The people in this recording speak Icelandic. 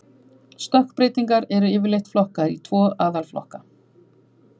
Stökkbreytingar eru yfirleitt flokkaðar í tvo aðalflokka.